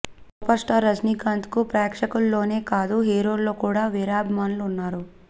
super star రజినీకాంత్కు ప్రేక్షకుల్లోనే కాదు హీరోల్లో కూడా వీరాభిమానులు ఉన్నారు